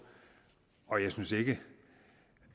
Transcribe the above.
og jeg synes ikke